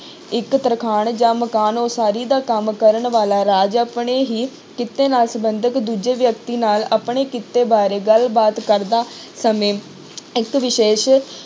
ਇੱਕ ਤਰਖਾਣ ਜਾਂ ਮਕਾਨ ਉਸਾਰੀ ਦਾ ਕੰਮ ਕਰਨ ਵਾਲਾ ਰਾਜ ਆਪਣੇ ਹੀ ਕਿੱਤੇ ਨਾਲ ਸੰਬੰਧਤ ਦੂਜੇ ਵਿਅਕਤੀ ਨਾਲ ਆਪਣੇ ਕਿੱਤੇ ਬਾਰੇ ਗੱਲਬਾਤ ਕਰਦਾ ਸਮੇਂ ਇੱਕ ਵਿਸ਼ੇਸ਼